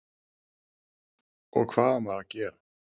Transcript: og hvað á maður að gera?